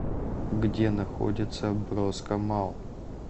где находится броско малл